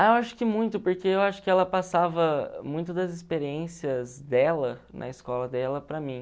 Ah, eu acho que muito, porque eu acho que ela passava muito das experiências dela na escola dela para mim.